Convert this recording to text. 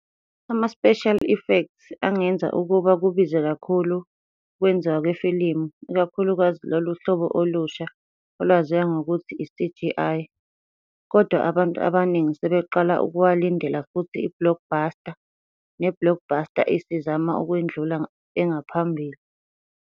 Ama-Special effects angenza ukuba kubize kakhulu ukwenziwa kwefilimu, ikakhulukazi loluhlobo olusha olwaziwa ngokuthi i-CGI, kodwa abantu abaningi sebeqala ukuwalindela futhi i-blockbuster ne-blockbuster isizama ukwendlula engaphambili.